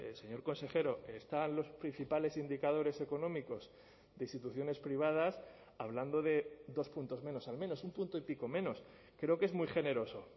señor consejero están los principales indicadores económicos de instituciones privadas hablando de dos puntos menos al menos un punto y pico menos creo que es muy generoso